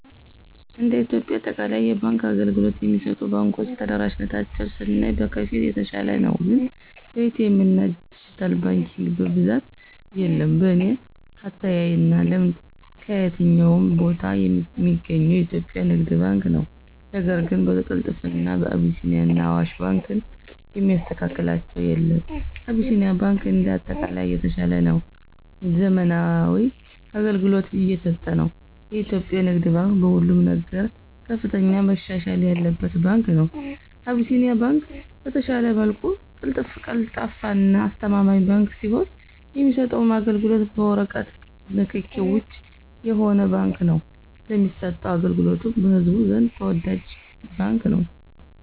እንደ ኢትዮጵያ በአጠቃላይ የባንክ አገልግሎት የሚሰጡ ባንኮች ተደራሽነታቸውን ስናይ በከፊል የተሻለ ነው ግን በኤ.ቲ. ኤምና ድጅታል ባንኪንግ በብዛት የለም። በኔ አተያይና ልምድ ከየትኛውም ቦታ ሚገኘው የኢትዮጵያ ንግድ ባንክ ነው ነገር ግን በቅልጥፍና አቢሲኒያና አዋሽ ባንክን የሚስተካከላቸው የለም። አቢሲኒያ ባንክ እንደ አጠቃላይ የተሻለና ዘመናዊ አገልግሎት እየሰጠ ነው። የኢትዮጵያ ንግድ ባንክ በሁሉም ነገር ከፍተኛ መሻሻል ያለበት ባንክ ነው። አቢሲኒያ ባንክ በተሻለ መልኩ ቀልጣፋና አስተማማኝ ባንክ ሲሆን የሚሰጠውም አገልግሎት በወረቀት ንክኪ ውጭ የሆነ ባንክ ነው ለሚሰጠው አገልግሎቱም በህዝቡ ዘንድ ተወዳጅ ባንክ ነው።